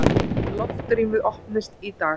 Loftrýmið opnist í dag